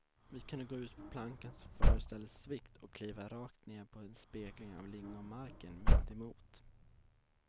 Vi kunde gå ut på plankan, som föreställde svikt och kliva rakt ner på en spegling av lingonmarken mitt emot.